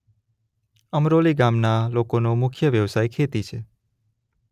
અમરોલી ગામના લોકોનો મુખ્ય વ્યવસાય ખેતી છે.